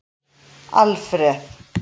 Alfreð